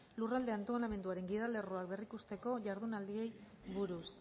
lurralde antolamenduaren gidalerroak berrikusteko jardunaldiei buruz